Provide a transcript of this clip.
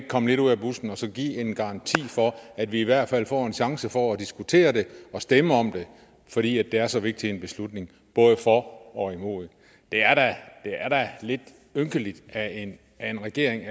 komme lidt ud af busken og så give en garanti for at vi i hvert fald får en chance for at diskutere det og stemme om det for det er så vigtig en beslutning både for og imod det er da lidt ynkeligt at en regering